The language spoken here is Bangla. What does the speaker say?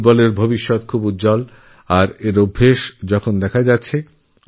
ফুটবলের ভবিষ্যৎ খুবই উজ্জ্বল এবং এর পূর্বাভাস পাওয়া যাচ্ছে